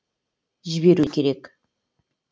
жіберу керек